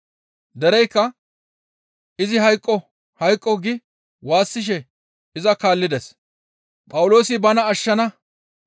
Dereykka, «Izi hayqqo! Hayqqo» gi waassishe iza kaallides.